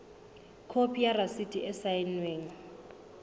khopi ya rasiti e saennweng